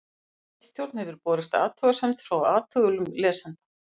ritstjórn hefur borist athugasemd frá athugulum lesanda